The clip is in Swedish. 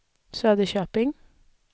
Söderköping